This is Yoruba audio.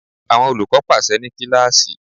Àwọn olùkọ́ pàsẹ ní kíláàsì.